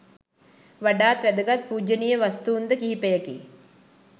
වඩාත් වැදගත් පූජනීය වස්තූන්ද කිහිපයකි.